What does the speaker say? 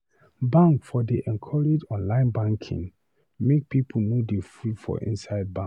Bank for dey encourage online banking make pipu no dey full for inside bank.